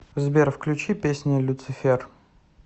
сбер включи песня люцифер